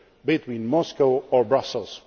a choice between Moscow or Brussels.